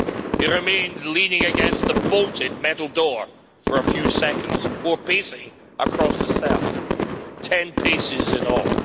He remained leaning against the bolted metal door for a few seconds before pacing across the cell 10 paces in all.